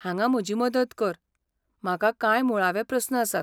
हांगा म्हजी मदत कर, म्हाका कांय मुळावे प्रस्न आसात.